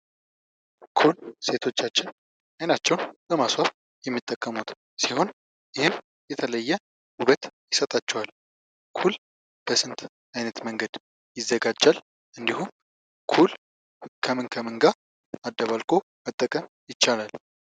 ኩል ሴቶቻችን አይናቸውን ለማስዋብ የሚጠቀሙት ቢሆን ይህም የተለየ ውበት ይሰጣቸዋል ። ኩል በስንት ዓይነት መንገድ ይዘጋጃል እንዲሁም ኩል ከምን ከምን ጋር አደባልቁ መጠቀም ይቻላል ?